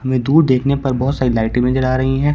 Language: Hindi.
हमें दूर देखने पर बहोत सारी लाइटें नजर आ रही हैं।